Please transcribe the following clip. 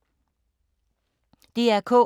DR K